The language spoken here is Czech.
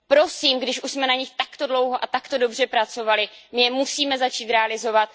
Prosím, když už jsme na nich takto dlouho a tak dobře pracovali, my je musíme začít realizovat.